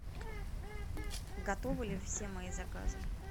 готовы ли все мои заказы